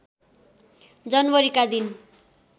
जनवरीका दिन